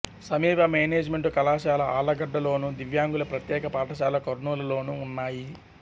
సమీప మేనేజిమెంటు కళాశాల ఆళ్లగడ్డ లోను దివ్యాంగుల ప్రత్యేక పాఠశాల కర్నూలు లోనూ ఉన్నాయి